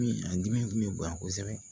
Min an dimi kun bɛ bonya kosɛbɛ